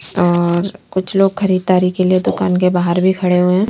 और कुछ लोग खरीदारी के लिए दुकान के बाहर भी खड़े हुए हैं।